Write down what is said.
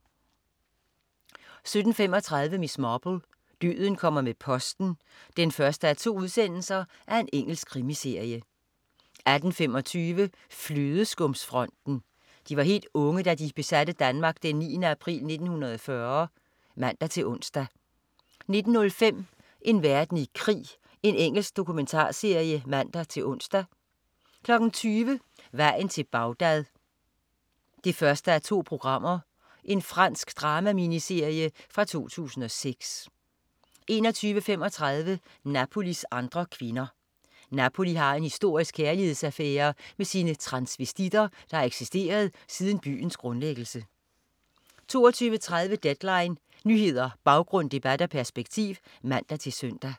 17.35 Miss Marple: Døden kommer med posten 1:2. Engelsk krimiserie 18.25 Flødeskumsfronten. De var helt unge da de besatte Danmark den 9. april 1940 (man-ons) 19.05 En verden i krig. Engelsk dokumentarserie (man-ons) 20.00 Vejen til Bagdad 1:2. Fransk drama-miniserie fra 2006 21.35 Napolis andre kvinder. Napoli har en historisk kærlighedsaffære med sine transvestitter, der har eksisteret siden byens grundlæggelse 22.30 Deadline. Nyheder, baggrund, debat og perspektiv (man-søn)